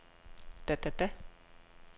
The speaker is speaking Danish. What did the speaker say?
da da da